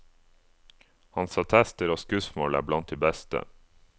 Hans attester og skussmål er blant de beste.